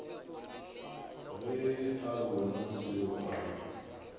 ge a bona seo a